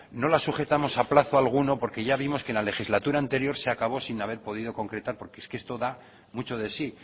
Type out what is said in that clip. no la sujetamos a plazo alguno porque ya vimos que en la legislatura anterior se acabó sin haber podido concretar porque es que esto da mucho de sí